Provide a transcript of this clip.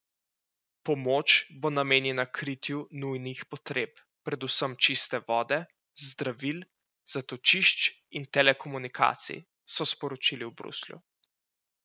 Pomoč bo namenjena kritju nujnih potreb, predvsem čiste vode, zdravil, zatočišč in telekomunikacij, so sporočili v Bruslju.